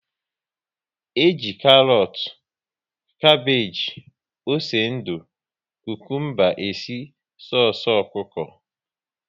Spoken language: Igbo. E ji karọt, kapage, ose ndụ, kukumba e si soosu ọkụkọ